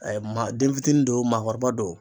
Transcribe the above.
maa den fitinin do maakɔrɔba don.